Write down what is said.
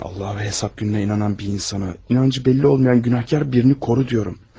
Allaha və qiyamət gününə inanan bir insana inancı bəlli olmayan günahkar birini qoru deyirəm.